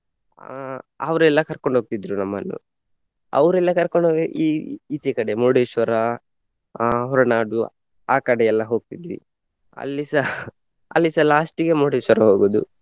ಅಹ್ ಅವರೆಲ್ಲಾ ಕರ್ಕೊಂಡು ಹೋಗ್ತಿದ್ರು ನಮ್ಮನ್ನು. ಅವರೆಲ್ಲ ಕರ್ಕೊಂಡು ಹೋಗ್~ ಈ~ ಈಚೆ ಕಡೆ ಮುರುಡೇಶ್ವರ, ಅಹ್ ಹೊರನಾಡು ಅಹ್ ಕಡೆ ಎಲ್ಲ ಹೋಗ್ತಿದ್ವಿ. ಅಲ್ಲಿಸ ಅಲ್ಲಿಸ last ಗೆ ಮುರುಡೇಶ್ವರ ಹೋಗುದು.